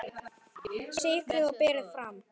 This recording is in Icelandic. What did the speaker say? Sykrið og berið fram.